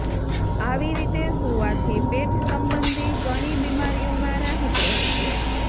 આવી રીતે સુવાંથી પેટ સંબંધી ઘણી બીમારીઓમાં રાહત રહે છે